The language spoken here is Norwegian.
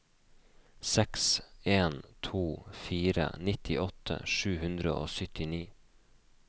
seks en to fire nittiåtte sju hundre og syttini